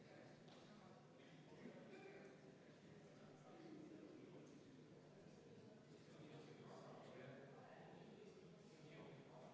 Ja märkamatult olemegi jõudnud viienda muudatusettepanekuni, mis on ka viimane selle eelnõu puhul.